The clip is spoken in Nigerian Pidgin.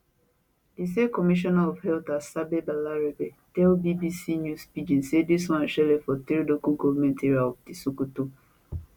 di state commissioner of health asabe balarabe tell bbc news pidgin say dis one shele for three local goment areas of di sokoto